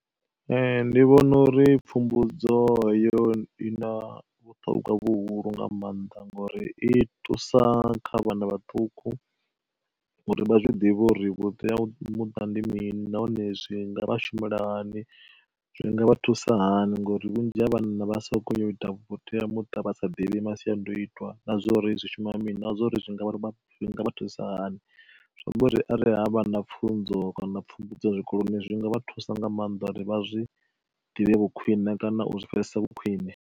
Ee ndi vhona uri pfhumbudzo yo i na vhuṱhogwa vhuhulu nga maanḓa, ngori i thusa kha vhana vhaṱuku uri vha zwiḓivhe uri vhuteamuṱa ndi mini nahone zwi nga vha shumela hani zwinga vha thusa hani ngori vhunzhi ha vhana vha soko yo ita vhuteamuṱa vha sa ḓivhi masiandoitwa na zwa uri zwi shuma mini na zwa uri zwi ngavha zwi nga vha thusa hani. Zwi amba uri arali havha na pfhunzo kana pfhumbudzo zwikoloni zwinga vha thusa nga maanḓa uri vha zwi ḓivhe vho khwiṋe kana u zwi pfhesesa vhu khwiṋe.